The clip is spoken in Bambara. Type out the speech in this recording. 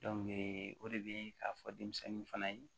o de bɛ k'a fɔ denmisɛnnin fana ye